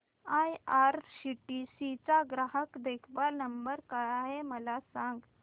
IRCTC चा ग्राहक देखभाल नंबर काय आहे मला सांग